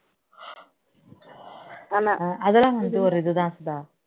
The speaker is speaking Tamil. அதெல்லாம் வந்து ஒரு இதுதான் சுதா